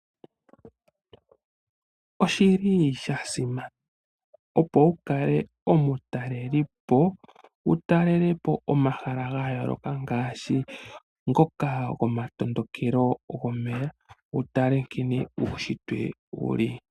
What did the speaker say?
Oshi li sha simana opo wu kale omitalelipo wu talele po omahala ga yooloka ngaashi ngoka gomatondokelo gomeya wu tale nkene uunshitwe wu li.